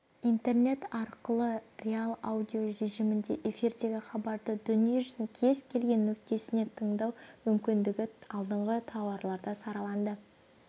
интернет арқылы реал-аудио режимінде эфирдегі хабарды дүниежүзінің кез келген нүктесінен тыңдау мүмкіндігі алдыңғы тарауларда сараланды